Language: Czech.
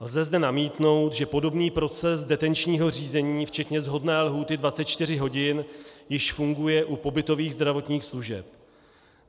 Lze zde namítnout, že podobný proces detenčního řízení včetně shodné lhůty 24 hodin již funguje u pobytových zdravotních služeb.